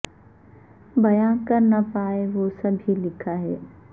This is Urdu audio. بیاں کر نہ پائے وہ سب ہی لکھا ہے